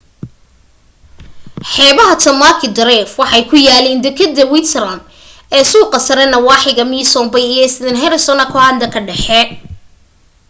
xeebaha tamaki drive waxay ku yaaliin dekedda waitemata ee suuqa sare nawaaxiga mission bay iyo st heliers ka aukland ka dhexe